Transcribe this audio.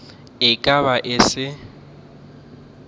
e ka be e se